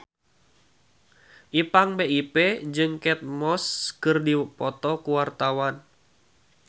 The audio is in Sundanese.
Ipank BIP jeung Kate Moss keur dipoto ku wartawan